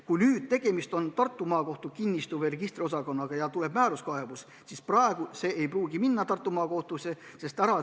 Kui tegemist on Tartu Maakohtu kinnistus- või registriosakonnaga ja tuleb määruskaebus, siis praegu see ei pruugi minna Tartu Maakohtusse.